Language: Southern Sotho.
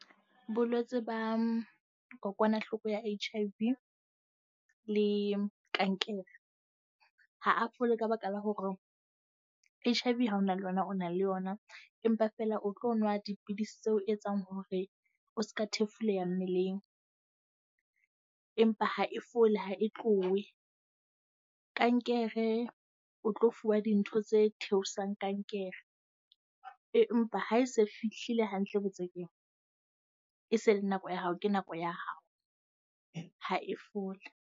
Bolwetse ba kokwanahloko ya H_I_V le kankere ha a fole ka baka la hore H_I_V ha o na le yona o na le yona. Empa feela o tlo nwa dipidisi tseo e etsang hore o seka thefuleha mmeleng. Empa ha e fole, ha e tlohe. Kankere o tlo fuwa dintho tse theosetsang kankere, empa ha e se fihlile hantle botsekeng, e se e le nako ya hao, ke nako ya hao. Ha e fole.